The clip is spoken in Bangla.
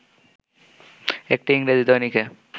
একটি ইংরেজি দৈনিকে